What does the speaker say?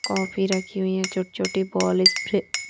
coffee रखी हुई हैं छोटे छोटे बॉल स्प्रे --